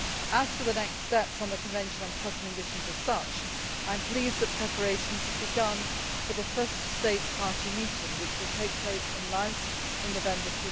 As for the next steps on the Convention on Cluster Munitions as such, I am pleased that preparations have begun for the first states party meeting, which will take place in Laos in November